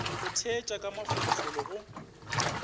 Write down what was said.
go theetša ka mafolofolo go